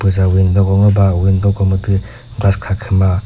puza window ko ngoba window ko mütü glass kha khü ma.